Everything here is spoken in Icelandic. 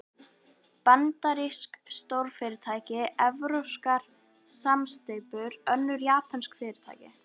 Bandarísk stórfyrirtæki, evrópskar samsteypur, önnur japönsk fyrirtæki.